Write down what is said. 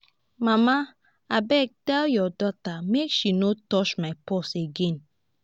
mama abeg tell your daughter make she no touch my purse again